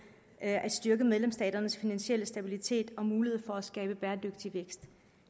at styrke medlemsstaternes finansielle stabilitet og mulighed for at skabe bæredygtig vækst